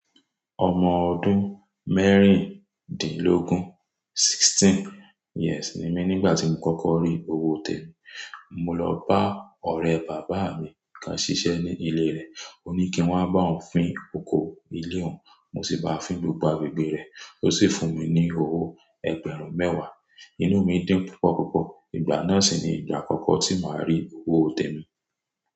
Ọmọ ọdún mẹ́rìndínlógún, sixteen years ni mí nígbà tí mo kọ́kọ́ rí owó tèmi. Mo lọ bá ọ̀rẹ́ bàbá mi kán ṣiṣẹ́ ní ilé rẹ̀. Ó ní kí n wá bá òun fín oko ilé òun, mo sì bá a fín gbogbo agbègbè rẹ̀. Ó sì fún mi ní owó ẹgbẹ̀rún mẹ́wàá. Inú mi dun púpọ̀ púpọ̀. Ìgbà náà sì ni ìgbà àkọ́kọ́ tí màá rí owó tèmi.